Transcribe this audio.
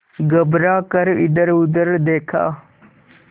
घबरा कर इधरउधर देखा